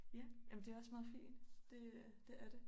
Ja jamen det også meget fint det det er det